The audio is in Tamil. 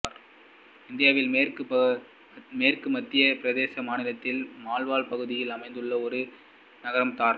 இந்தியாவில் மேற்கு மத்திய பிரதேச மாநிலத்தின் மால்வா பகுதியில் அமைந்துள்ள ஒரு நகரம் தார்